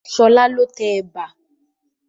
Ṣọlá ló tẹ ẹ̀bà